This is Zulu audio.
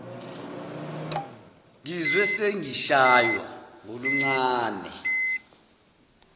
ngizwe sengishaywa ngoluncane